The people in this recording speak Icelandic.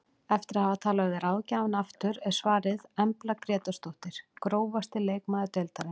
Eftir að hafa talað við ráðgjafann aftur er svarið Embla Grétarsdóttir Grófasti leikmaður deildarinnar?